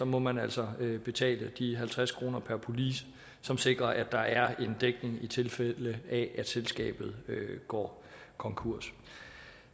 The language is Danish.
må man altså betale de halvtreds kroner per police som sikrer at der er en dækning i tilfælde af at selskabet går konkurs